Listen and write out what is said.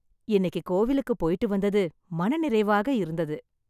இன்னைக்கு கோவிலுக்கு போயிட்டு வந்தது மன நிறைவாக இருந்தது.